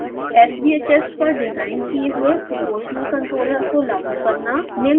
sbhs पर design किये हुए proportional controller को लागू करना